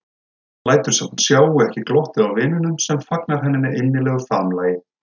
Lætur sem hann sjái ekki glottið á vininum sem fagnar henni með innilegu faðmlagi.